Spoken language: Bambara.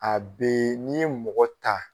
A bee n'i ye mɔgɔ ta